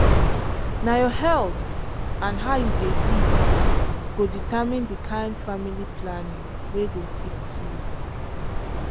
na your health and how you dey live go determine the kind family planning wey go fit you.